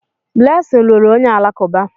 Blessing lụrụ onye Alakụba